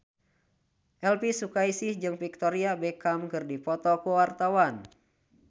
Elvy Sukaesih jeung Victoria Beckham keur dipoto ku wartawan